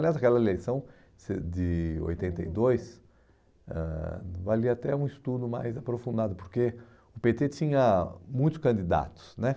Aliás, aquela eleição de oitenta e dois ãh valia até um estudo mais aprofundado, porque o pê tê tinha muitos candidatos, né?